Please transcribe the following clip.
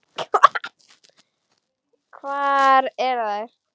Hvar eru þær?